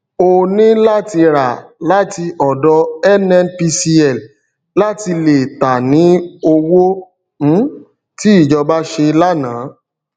o ní láti rà láti ọdọ nnpcl láti lè tà ní owó um tí ìjọba ṣe lànà